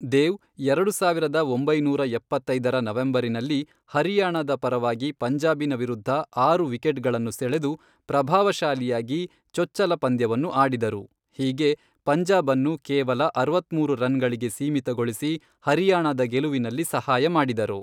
ದೇವ್ ಎರಡು ಸಾವಿರದ ಒಂಬೈನೂರ ಎಪ್ಪತ್ತೈದರ ನವೆಂಬರಿನಲ್ಲಿ ಹರಿಯಾಣದ ಪರವಾಗಿ ಪಂಜಾಬಿನ ವಿರುದ್ಧ ಆರು ವಿಕೆಟ್ಗಳನ್ನು ಸೆಳೆದು ಪ್ರಭಾವಶಾಲಿಯಾಗಿ ಚೊಚ್ಚಲ ಪಂದ್ಯವನ್ನು ಆಡಿದರು, ಹೀಗೆ ಪಂಜಾಬ್ ಅನ್ನು ಕೇವಲ ಅರವತ್ಮೂರು ರನ್ಗಳಿಗೆ ಸೀಮಿತಗೊಳಿಸಿ ಹರಿಯಾಣದ ಗೆಲುವಿನಲ್ಲಿ ಸಹಾಯ ಮಾಡಿದರು.